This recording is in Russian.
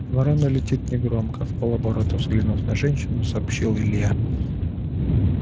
ворона летит негромко вполоборота взглянув на женщину сообщил илья